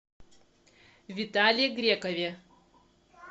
витале грекове